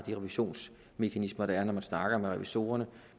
revisionsmekanismer der er når de snakker med revisorerne